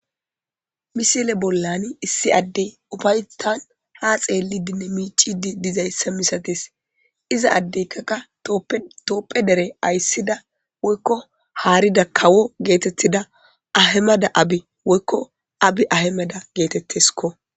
misile bollani issi addey ubaytan ha xeellidinne miicidi dizayssa misatis iza addeyka ka toopphe dere ayssida woykko haarida kawo geetettida ahemada abi woykko abi ahemada geetetteskko